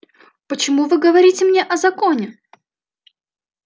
почему вы говорите мне о законе